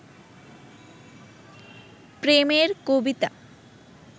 প্রেমের কবিতা